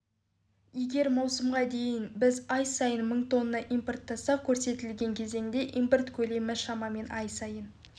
еер маусымға дейін біз ай сайын мың тонна импорттасақ көрсетілген кезеңде импорт көлемі шамамен ай сайын